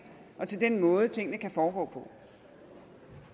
og til den måde tingene kan foregå på